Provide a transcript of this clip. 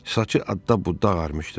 Saçı adda-budda ağarmışdı.